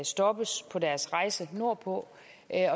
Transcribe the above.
stoppes på deres rejse nordpå